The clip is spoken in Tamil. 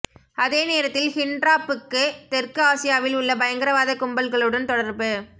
அதே நேரத்தில் ஹிண்ட்ராப்புக்கு தெற்கு ஆசியாவில் உள்ள பயங்கரவாதக் கும்பல்களுடன் தொடர்பு